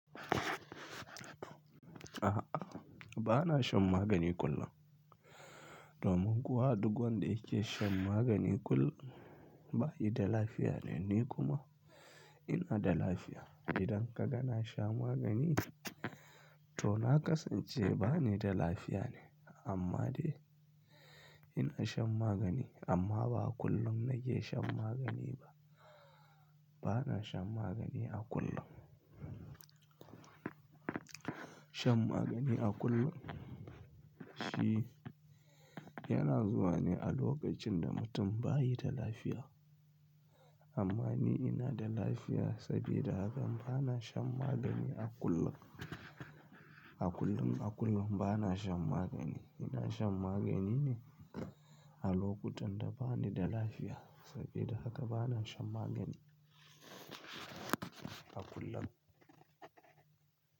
A'a, ba na shan magani kullum. Domin kuwa duk wanda yake shan magani kullum ba ya da lafiya ne. Ni kuma ina da lafiya. Idan ka ga na sha magani, to na kasance ba ni da lafiya ne, amma dai ina shan magani. Amma ba kullum na ke shan magani ba. Ba na shan magani a kullum. Shan magani a kullum shi yana zuwa ne a lokacin da mutum ba yi da lafiya. Amma ni ina da lafiya, sabida haka ba na shan magani a kullun. A kullum, a kullum ba na shan magani. Ina shan magani ne a lokutan da ba ni da lafiya. Sabida haka ba na shan magani a kullun.